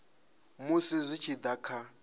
musi zwi tshi da kha